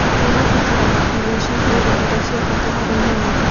Mahiũ nĩ mabataraga irio ciihũire indo cia bata harĩ mwĩrĩ.